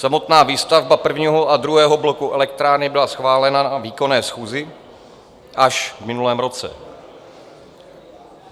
Samotná výstavba prvního a druhého bloku elektrárny byla schválena na výkonné schůzi až v minulém roce.